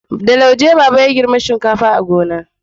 da lauje baba ya girbi shinkafa a gona